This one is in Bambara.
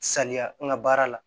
Saniya n ka baara la